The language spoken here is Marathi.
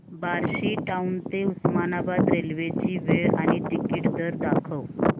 बार्शी टाऊन ते उस्मानाबाद रेल्वे ची वेळ आणि तिकीट दर दाखव